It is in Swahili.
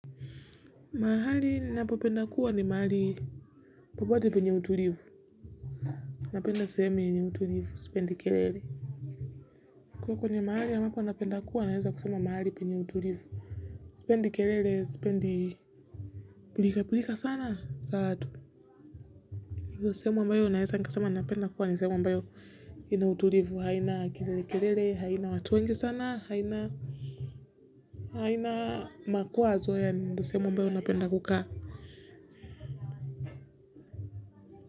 Mahali ninapopenda kuwa ni mahali popote penye utulivu. Napenda sehemu yenye utulivu, sipendi kelele. Kwa hiyo kwenye mahali ninapenda kuwa naweza kusema mahali penye utulivu. Sipendi kelele, sipendi pilka pilka sana, za watu hivyo sehemu ambayo naweza nikasema napenda kuwa ni sehemu ambayo ina utulivu, haina kilele kelele, haina watu wengi sana, haina haina makwazo yani ndio sehemu ambayo napenda kukaa.